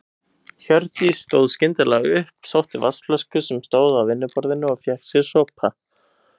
Hjördís stóð skyndilega upp, sótti vatnsflösku sem stóð á vinnuborðinu og fékk sér sopa.